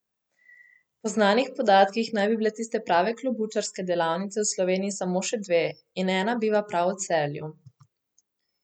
Po znanih podatkih naj bi bile tiste prave klobučarske delavnice v Sloveniji samo še dve in ena biva prav v Celju.